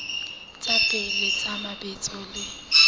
tsa pele tsa mabitso le